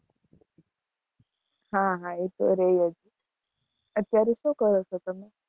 હા હા, એ તો રેય જ, અત્યારે શું કરો છો, તમે?